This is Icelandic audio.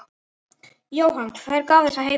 Jóhann: Hver gaf þessa heimild?